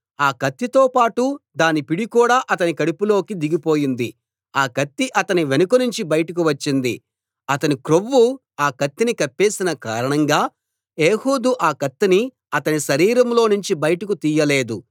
ఆ కత్తితో పాటు దాని పిడి కూడా అతని కడుపులోకి దిగి పోయింది ఆ కత్తి అతని వెనుకనుంచి బయటకు వచ్చింది అతని క్రొవ్వు ఆ కత్తిని కప్పేసిన కారణంగా ఏహూదు ఆ కత్తిని అతని శరీరంలోనుంచి బయటకు తీయలేదు